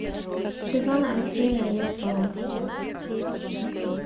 светлана алексеевна ельцова